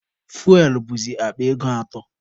Fuwel bụzi akpa ego atọ.